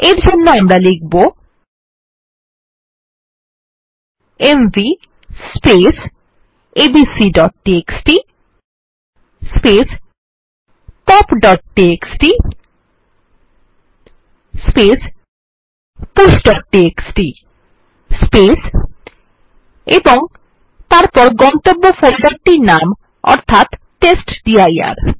এর জন্য আমরা লিখব এমভি abcটিএক্সটি popটিএক্সটি pushটিএক্সটি এবং তারপর গন্তব্য ফোল্ডারটির নাম অর্থাৎ টেস্টডির